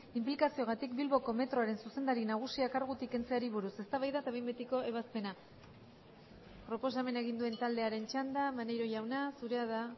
inplikazioagatik bilboko metroaren zuzendari nagusia kargutik kentzeari buruz eztabaida eta behin betiko ebazpena proposamena egin duen taldearen txanda maneiro jauna zurea da